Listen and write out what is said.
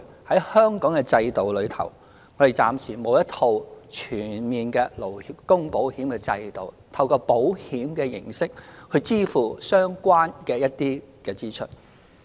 在香港的制度中，我們暫時沒有一套全面的勞工保險制度，透過保險形式支付一些相關支出。